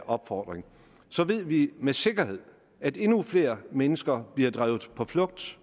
opfordring så ved vi med sikkerhed at endnu flere mennesker bliver drevet på flugt